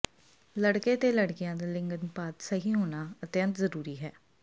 ਲੜਕੇ ਤੇ ਲੜਕੀਆਂ ਦਾ ਲਿੰਗ ਅਨੁਪਾਤ ਸਹੀ ਹੋਣਾ ਅਤਿੰਅਤ ਜਰੂਰੀ